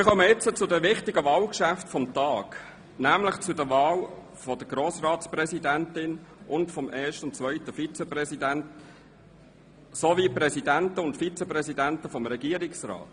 Wir kommen nun zu den wichtigen Wahlgeschäften des heutigen Tags, nämlich zu den Wahlen der Grossratspräsidentin, des ersten und des zweiten Vizepräsidenten des Grossen Rats sowie des Präsidenten und des Vizepräsidenten des Regierungsrats.